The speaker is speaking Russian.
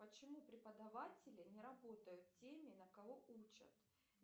почему преподаватели не работают теми на кого учат